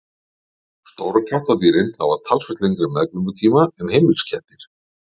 stóru kattardýrin hafa talsvert lengri meðgöngutíma en heimiliskettir